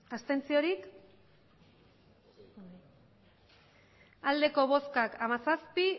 hamairu bai hamazazpi